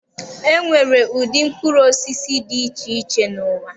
E nwere ụdị mkpụrụ osisi dị iche iche n'ụwa.